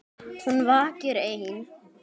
Hún vakir ein.